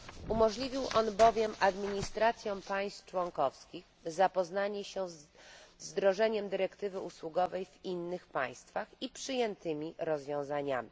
Umożliwił on bowiem administracjom państw członkowskich zapoznanie się z wdrożeniem dyrektywy usługowej w innych państwach i przyjętymi rozwiązaniami.